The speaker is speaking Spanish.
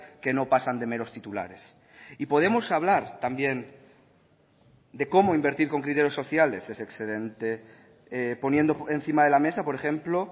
que no pasan de meros titulares y podemos hablar también de cómo invertir con criterios sociales ese excedente poniendo encima de la mesa por ejemplo